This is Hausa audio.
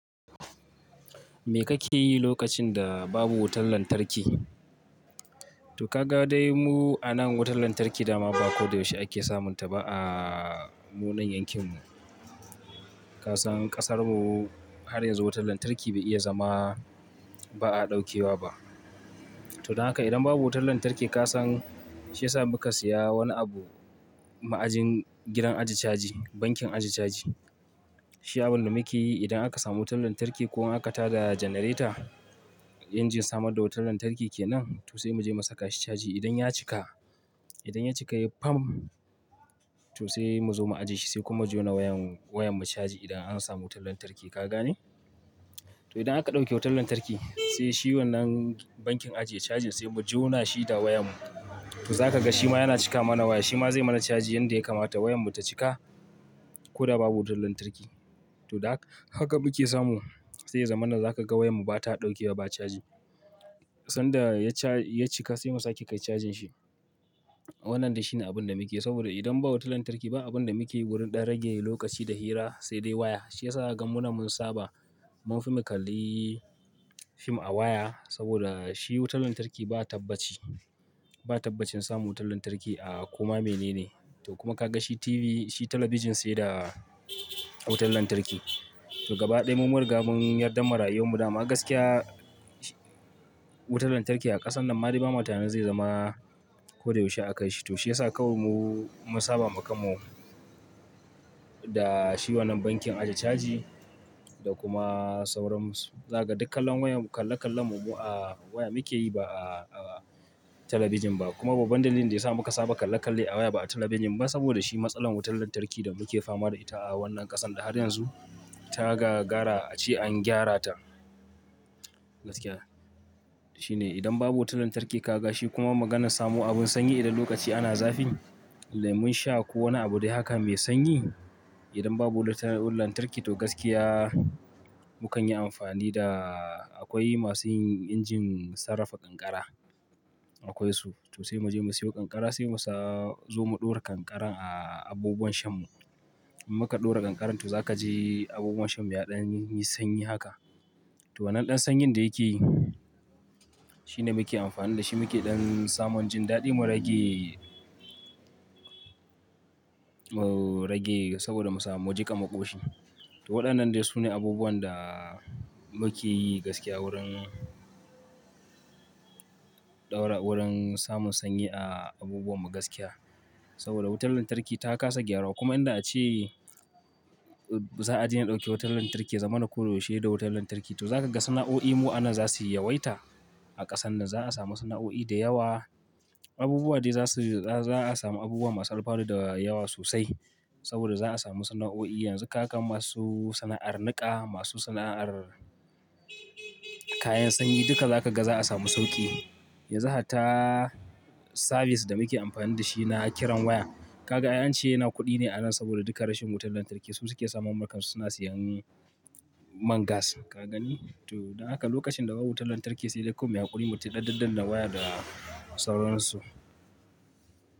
Me kake yi lokacin da babu wutar lantarki? To ka ga dai mu a nan wutar lantarki dama ba koyaushe ake samunta ba, a mu nan yankin mu. Kasan kasar mu har yanzu wutar lantarki bai iya zama ba a ɗaukewa ba. To don haka idan babu wutar lantarki, kasan shi ya sa muka siya wani abu, ma'ajin gidan aji caji, bankin aje caji. Shi abun da muke yi idan aka samu wutar lantarki ko in aka tada janareta, injin samar da wutar lantarki kenan, to sai mu je mu sa ka shi caji. Idan ya cika, idan ya cika ya fam, to sai mu zo mu ajiye shi sai kuma jona wayan, wayan mu caji idan an samu wutar lantarki, ka gane? To idan aka ɗauke wutar lantarki, sai shi wannan bankin ajiye cajin, sai mu jona shi da wayan mu. To za ka ga shi ma yana cika mana waya, shi ma zai mana caji yanda ya kamata wayan mu ta cika. Ko da babu wutar lantarki. To da haka muke samu, sai ya zamana za ka ga wayan mu ba ta ɗauke wa, ba caji. Sanda ya ca, ya cika sai mu sa ke cajin shi. Wannan dai shine abun da muke yi, saboda idan babu wutar lantarki ba abun da muke wurin ɗan rage lokaci da hira, sai dai waya. Shiyasa za ka ga mu na mun saba, mun fi mu kalli fim a waya saboda shi wutar lantarki ba taɓa ci. Ba taɓa cin samu wutar lantarki a kuma mene ne. To kuma ka ga shi TV, shi talabijin sai da wutar lantarki. To gaba ɗaya mu mun ri ga mun yarda mara'ayi mu dama gaskiya, wutar lantarki a ƙasan nan ma dai ba matane zai zama, koda yaushe akwai shi. To shiyasa kawai mu, mun saba mu kanmu da shi wannan bankin aji caji da kuma sauran su. Za ka ga dukkan kalan wayan, kalle kallen mu a waya muke yi ba a, a talabijin ba. Kuma babba dalilin da yasa muka saba da kalle-kalle a waya ba a talabijin ba, saboda shi wannan matsalan wutan lantarki da muke fama da shi a wannan ƙasar da har yanzu ta gagara an gyara ta. Gaskiya shine idan babu wutar lantarki ka ga shi kuma maganan samu abin sanyi idan lokaci ana zafi, lemon sha ko wani abu dai haka mai sanyi. Idan babu wuta, wutar lantarki to gaskiya mukan yi amfani da akwai masu yin injin sarrafa kankara. Akwai su to sai mu siyo ƙanƙara sai mu sayo ƙanƙara mu ɗaura akan abubuwan sham mu in muka ɗora kankaran to za ka ji abubuwan shan mu yaɗan yi sanyi haka. To wannan ɗan sanyin da yake yi shine muke amfani da shi muke ɗan samun jin daɗi mu rage, mu rage saboda mu samu, mu jiƙa maƙoshi. To waɗannan dai sune abubuwan da muke yi gaskiya wurin ɗaura, wurin samun sanyi, a abubuwan mu gaskiya. Saboda wutar lantarki ta kasa gyaruwa, kuma in da a ce, za a daina ɗauke wutar lantarki ya zama na ko yaushe da wutar lantarki to za ka ga sana'o'i mu anan za su yi yawaita. A ƙasan nan za a samu sana'o'i da yawa. Abubuwa dai za su, za a samu abubuwa masu alfanu da yawa sosai. Saboda za a samu sana'o'i yanzu ka ga masu sana'ar niƙa, masu sana'ar kayan sanyi duka za ka ga za a samu sauƙi. Yanzu hatta, sabis da muke amfani da shi na kiran waya. Ka ga an ce yana kuɗi ne anan saboda duka rashin wutar lantarki su suke samun mulkar su suna sayan man gas, ka gani? To da haka lokacin da babu wutar lantarki sai dai kom yaƙuri mu ci ɗaɗaɗɗan da waya da sauran su.